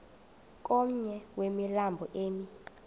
komnye wemilambo emi